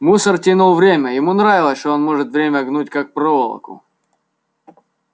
мусор тянул время ему нравилось что он может время гнуть как проволоку